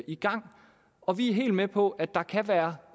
i gang og vi er helt med på at der kan være